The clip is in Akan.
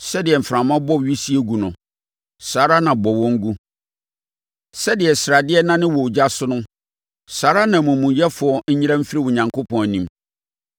Sɛdeɛ mframa bɔ wisie gu no, saa ara na bɔ wɔn gu; sɛdeɛ sradeɛ nane wɔ ogya so no, saa ara na amumuyɛfoɔ nyera mfiri Onyankopɔn anim.